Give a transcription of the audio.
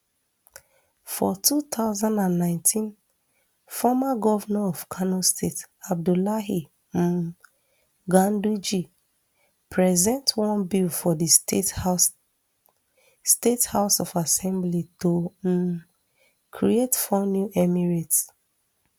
for two thousand and nineteen former govnor of kano state abdullahi um ganduje present one bill for di state house state house of assembly to um create four new emirates